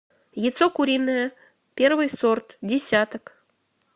яйцо куриное первый сорт десяток